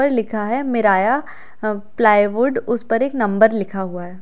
यहां पर लिखा है मिराया प्लाईवुड उस पर एक नंबर लिखा हुआ है।